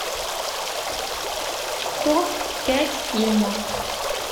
топ пять фильмов